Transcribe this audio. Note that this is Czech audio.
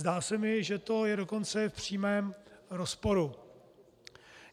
Zdá se mi, že to je dokonce v přímém rozporu.